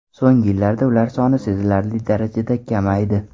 So‘nggi yillarda ular soni sezilarli darajada kamaydi.